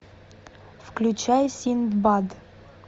включай синдбад